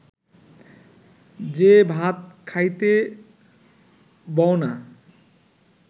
যে ভাত খাইতে বও না